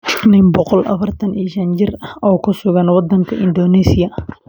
Nin boqol iyo afartaan iyo shan jir ah oo ku sugan Indonesia